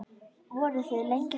Voruð þið lengi saman?